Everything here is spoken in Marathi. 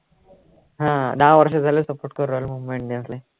हा दहा वर्ष झाले support करू राहिलो मुंबई इंडियन्स ले